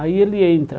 Aí ele entra.